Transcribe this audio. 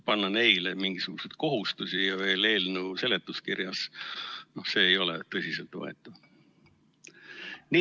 Panna neile mingisuguseid kohustusi ja veel eelnõu seletuskirjas – see ei ole tõsiselt võetav.